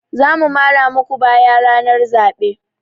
Za mu mara muku baya ranar zaɓe.